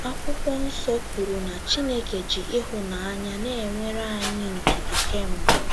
Akwụkwọ nsọ kwuru na Chineke ji ịhụnanya na - enwere anyị ndidi kemgbe.